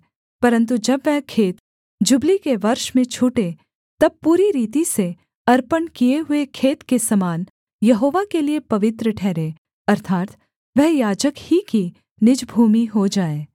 परन्तु जब वह खेत जुबली के वर्ष में छूटे तब पूरी रीति से अर्पण किए हुए खेत के समान यहोवा के लिये पवित्र ठहरे अर्थात् वह याजक ही की निज भूमि हो जाए